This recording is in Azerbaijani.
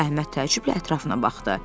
Əhməd təəccüblə ətrafına baxdı.